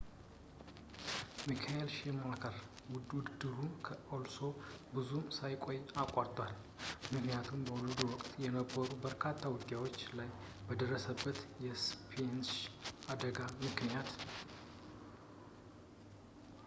ሚካኤል ሽማከር ውድድሩ ከአሎሶ ብዙም ሳይቆይ አቋርጧል ምክንያቱም በውድድሩ ወቅት በነበሩት በርካታ ውጊያዎች ላይ በደረሰበት የሰስፔንሽን አደጋ ምክንያት